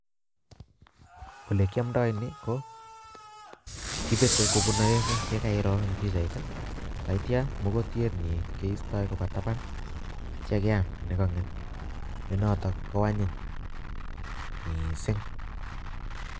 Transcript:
olekiamdai ni ko, kipete kopun aengu ye kairo eng pichait ii. tatiam mogotienyi keistoi kopatapan, atia keam neganget, nenotok koanyiny miising.